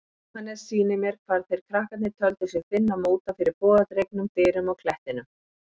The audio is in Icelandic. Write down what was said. Jóhannes sýnir mér hvar þeir krakkarnir töldu sig finna móta fyrir bogadregnum dyrum á klettinum.